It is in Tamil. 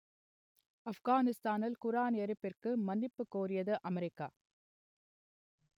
ஆப்கானிஸ்தானில் குர்ஆன் எரிப்புக்கு மன்னிப்புக் கோரியது அமெரிக்கா